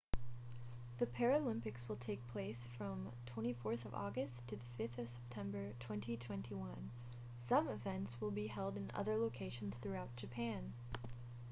the paralympics will take place from 24 august to 5 september 2021 some events will be held in other locations throughout japan